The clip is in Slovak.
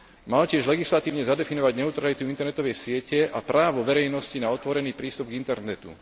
Mal tiež legislatívne zadefinovať neutralitu internetovej siete a právo verejnosti na otvorený prístup k internetu.